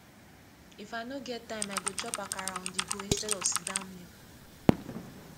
if i no get time i go chop akara onthego instead of sitdown meal